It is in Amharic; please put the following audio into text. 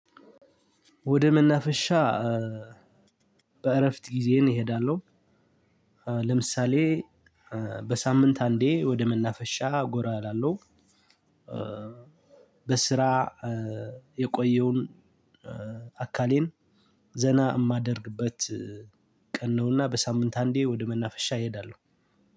ወደ መናፈሻ በእረፍት ጊዜዬን እሄዳለሁ። ለምሳሌ በሳምንት አንዴ ወደ መናፈሻ ጎራ እላለሁ። በስራ የቆየውን አካሌን ዘና የማደርግበት ቀን ነውና። በሳምንት አንዴ ወደ መናፈሻ እሄዳለሁ።